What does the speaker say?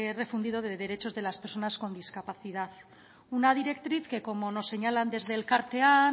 refundido de derechos de las personas con discapacidad una directriz que como nos señalan desde elkartean